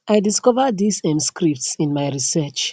i discover dis um scripts in my research